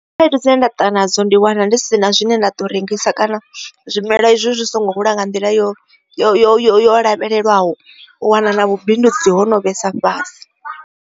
Khaedu dzine nda tou nadzo ndi wana ndi si na zwine nda to rengisa kana zwimelwa izwi zwi songo hula nga nḓila yo yo yo yo lavhelelwaho wana na vhubindudzi ho no vhesa fhasi.